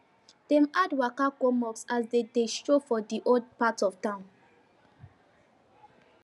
dem add waka go mosque as dem dey stroll for di old part of town